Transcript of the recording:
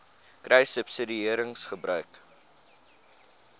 kruissubsidiëringgebruik